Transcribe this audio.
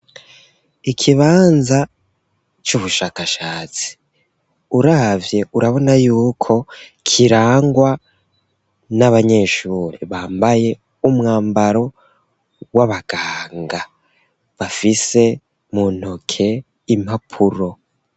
Ikibanza c'ubushakashatsi uravye urabona yuko kirangwa n'abanyeshuri bambaye umwambaro w'abaganga bafise mu ntoke impapuro.